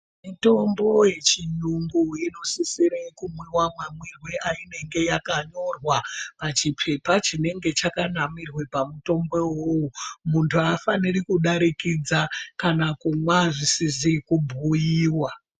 Mitombo yechiyungu inosisire kumwiwa mamwirwe ayinenge yakanyorwa pachipepa chinenge chakanamirwe pamutombo iwowowo. Muntu haafaniri kudarikidza kana kumwa zvisizi kubhuyiwa.